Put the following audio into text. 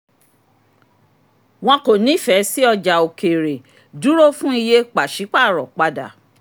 wọn kò nífẹ̀ẹ́ sí ọjà òkèèrè dúró fún iye pàṣípàrọ̀ padà.